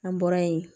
An bɔra yen